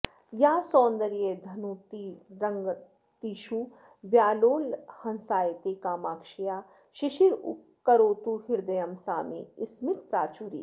या सौन्दर्यधुनीतरङ्गततिषु व्यालोलहंसायते कामाक्ष्याः शिशिरीकरोतु हृदयं सा मे स्मितप्राचुरी